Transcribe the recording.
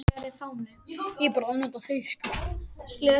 Miriam, ég kom með sautján húfur!